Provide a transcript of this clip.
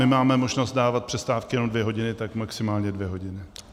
My máme možnost dávat přestávky jenom dvě hodiny, tak maximálně dvě hodiny.